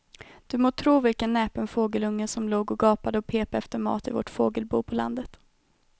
Du må tro vilken näpen fågelunge som låg och gapade och pep efter mat i vårt fågelbo på landet.